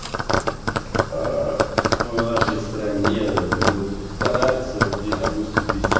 аа в нашей стране ведут стараются окей допустим вести